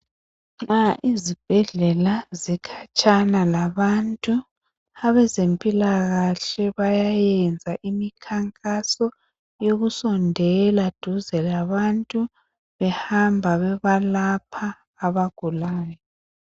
Nxa izibhedlela zikhatshana labantu abezempilakahle bayayenza imikhankaso yokusondela duze labantu behamba bebalapha abagulayo.